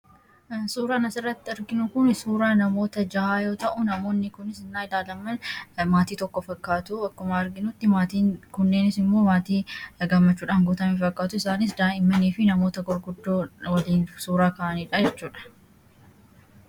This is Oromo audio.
Suuraan asirratti arginu kun suuraa namoota jahaa yoo ta'u, namoonni kun hennaa ilaalaman maatii tokko fakkaatu. Akkuma arginutti maatiin kunis immoo kan gammachuudhaan guutaman fakkaatu. Daa'immanii fi namoota gurguddoo waliin suuraa ka'anidha jechuudha.